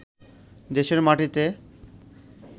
দেশের মাটিতে